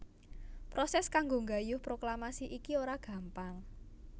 Prosès kanggo nggayuh proklamasi iki ora gampang